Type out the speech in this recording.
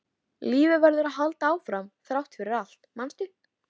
Lífið verður að halda áfram þrátt fyrir allt, manstu?